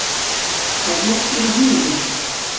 Það glittir í hnífinn.